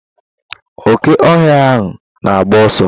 Oke ohia ahụ na agba ọsọ.